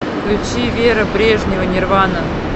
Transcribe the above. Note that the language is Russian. включи вера брежнева нирвана